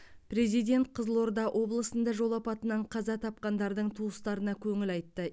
президент қызылорда облысында жол апатынан қаза тапқандардың туыстарына көңіл айтты